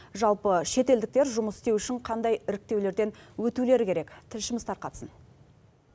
жалпы шетелдіктер жұмыс істеу үшін қандай іріктеулерден өтулері керек тілшіміз тарқатсын